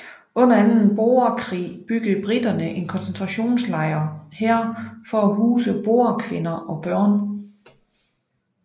Under anden boerkrig byggede briterne en koncentrationslejr her for at huse boerkvinder og børn